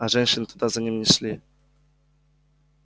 а женщины туда за ним не шли